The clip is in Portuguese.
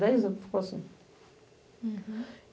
Dez anos que ficou assim.